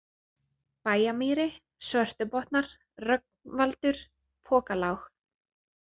Bæjarmýri, Svörtubotnar, Rögnvaldur, Pokalág